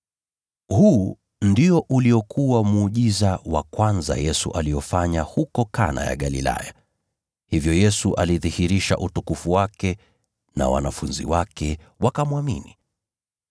Huu, ndio uliokuwa muujiza wa kwanza Yesu aliofanya Kana ya Galilaya. Hivyo Yesu alidhihirisha utukufu wake, nao wanafunzi wake wakamwamini.